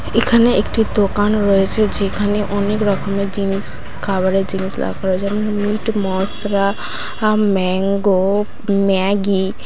এখানে একটি দোকান রয়েছে যেখানে অনেক রকমের জিনিস খাবারের জিনিস রাখা রয়েছে এং মিট মসলা ম্যাংগো ম্যাগী।